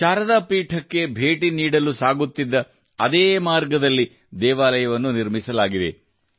ಶಾರದಾ ಪೀಠಕ್ಕೆ ಬೇಟಿ ನೀಡಲು ಸಾಗುತ್ತಿದ್ದ ಅದೇ ಮಾರ್ಗದಲ್ಲಿ ದೇವಾಲಯವನ್ನು ನಿರ್ಮಿಸಲಾಗಿದೆ